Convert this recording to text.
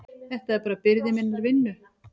Þetta er bara byrði minnar vinnu.